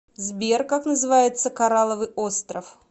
сбер как называется корраловый остров